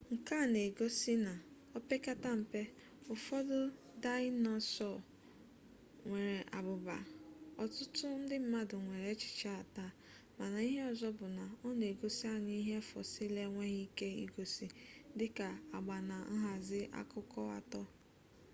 nke a na-egosi na opekata mpe ụfọdụ daịnosọọ nwere abụba ọtụtụ ndị mmadụ nwere echiche a taa mana ihe ọzọ bụ na ọ na-egosi anyị ihe fosịl enweghị ike igosi dịka agba na nhazi akụkụ-atọ